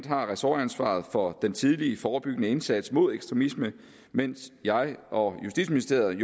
har ressortansvaret for den tidlige forebyggende indsats mod ekstremisme mens jeg og justitsministeriet